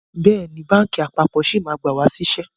Bẹ́ẹ̀ni, báńkì àpapọ̀ sì máa gba wá sí iṣẹ́